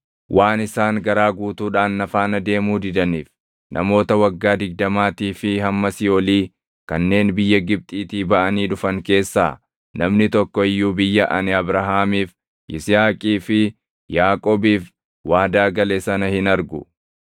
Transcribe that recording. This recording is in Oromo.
‘Waan isaan garaa guutuudhaan na faana deemuu didaniif, namoota waggaa digdamaatii fi hammasii olii kanneen biyya Gibxiitii baʼanii dhufan keessaa namni tokko iyyuu biyya ani Abrahaamiif, Yisihaaqii fi Yaaqoobiif waadaa gale sana hin argu.